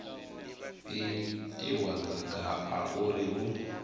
itiwa maga a uri hu